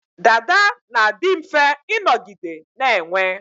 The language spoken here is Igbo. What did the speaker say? Dada na-adi mfe ịnọgide na-enwe